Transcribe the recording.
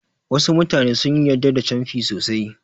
Wasu mutane sun yarda da canfi sosai.